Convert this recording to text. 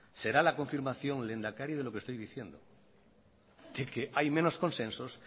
será la confirmación lehendakari de lo que estoy diciendo de que hay menos consensos